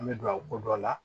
An bɛ don a ko dɔ la